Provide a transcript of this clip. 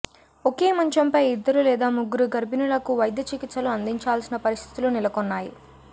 ఒకే మంచంపై ఇద్దరు లేదా ముగ్గురు గర్భిణులకు వైద్య చికిత్సలు అందించాల్సిన పరిస్థితులు నెలకొన్నాయి